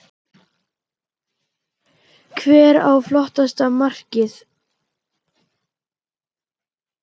Hver á flottasta markið?